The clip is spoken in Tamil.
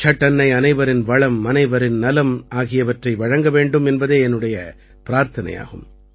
சட் அன்னை அனைவரின் வளம் அனைவரின் நலம் ஆகியவற்றை வழங்க வேண்டும் என்பதே என்னுடைய பிரார்த்தனையாகும்